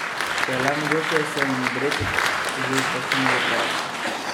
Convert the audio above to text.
Če je le mogoče, se jim odrecite že kakšno uro prej.